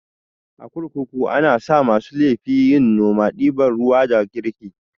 A kurkuku anasa masu laifi yin noma, ɗiban ruwa da girki